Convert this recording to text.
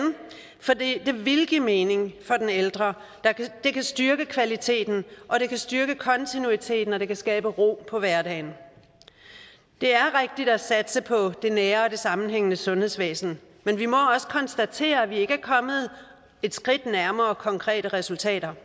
for det ville give mening for den ældre det kan styrke kvaliteten og det kan styrke kontinuiteten og det kan skabe ro på hverdagen det er rigtigt at satse på det nære og det sammenhængende sundhedsvæsen men vi må også konstatere at vi ikke er kommet et skridt nærmere konkrete resultater